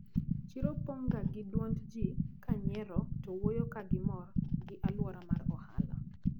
Chiro pong` ga gi duond ji kanyiero to wuoyo kagimor gi aluora mar ohala.